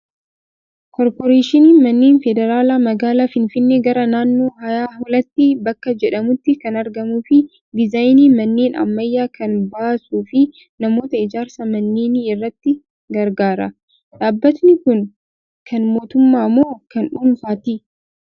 Koorporeeshiniin manneen federaalaa magaalaa Finfinnee gara naannoo haayaa hulattii bakka jedhamutti kan argamuu fi diizaayinii manneen ammayyaa kan baasuu fi namoota ijaarsa manneenii irratti gargaara. Dhaabbatni kun kan mootummaa moo kan dhuunfaati?